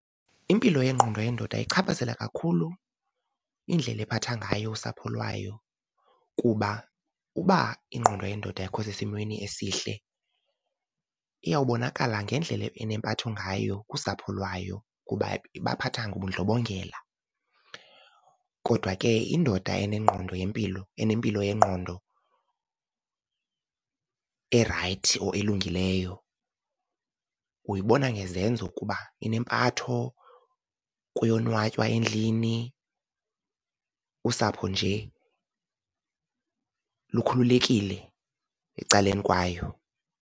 Impilo yengqondo yendoda ichaphazela kakhulu indlela ephatha ngayo usapho lwayo kuba uba ingqondo yendoda ayikho sesimweni esihle iyawubonakala ngendlela enempatho ngayo kusapho lwayo, kuba ibaphatha ngobundlobongela. Kodwa ke indoda enengqondo yempilo, enempilo yengqondo erayithi or elungileyo uyibona ngezenzo kuba inempatho, kuyonwatywa endlini, usapho nje lukhululekile ecaleni kwayo.